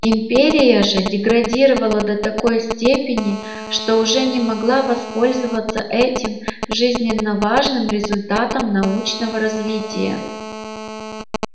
империя же деградировала до такой степени что уже не могла воспользоваться этим жизненно важным результатом научного развития